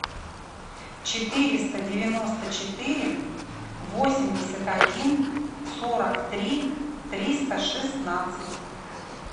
четыреста девяносто четыре восемьдесят один сорок три триста шестнадцать